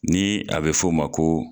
Ni a be f'o ma ko